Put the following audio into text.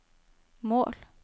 mål